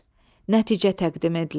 Nəticə təqdim edilir.